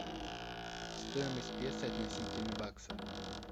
стоимость песо относительно бакса